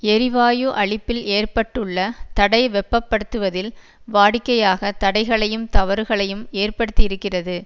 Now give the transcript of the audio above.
எரிவாயு அளிப்பில் ஏற்பட்டுள்ள தடை வெப்பப்படுத்துவதில் வாடிக்கையாக தடைகளையும் தவறுகளையும் ஏற்படுத்தியிருக்கிறது